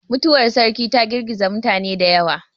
Mutuwar sarki ta girgiza mutane da yawa.